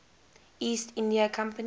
east india company